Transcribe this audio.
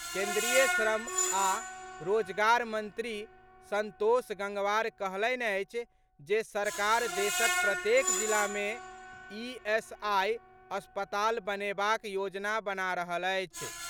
केन्द्रीय श्रम आ रोजगार मंत्री संतोष गंगवार कहलनि अछि जे सरकार देशक प्रत्येक जिला मे ईएसआई अस्पताल बनेबाक योजना बना रहल अछि।